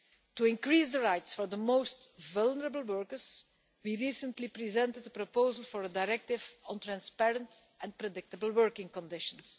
To increase the rights for the most vulnerable workers, we recently presented a proposal for a Directive on Transparent and Predictable Working Conditions.